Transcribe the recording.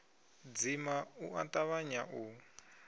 dzima u a tavhanya u